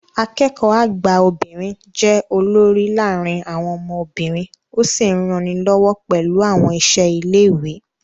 Akẹ́kọ̀ọ́ àgbà obìnrin jẹ́ olórí láàárín àwọn ọmọ obìnrin ó sì ń ranilọ́wọ́ pẹ̀lú àwọn iṣẹ́ ilé ìwé